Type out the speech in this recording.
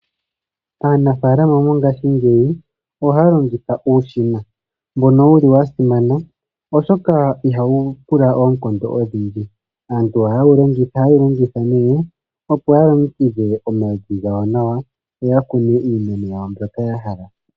Aanafalama mongashingeyi ohaya longitha uushina mboka wuli wa simana, oshoka ihawu pula oonkondo odhindji. Aantu oha yewu longitha ne opo ya longekidhe omavi gawo nawa, yo ya kune iimeno yawo mbyoka ya hala.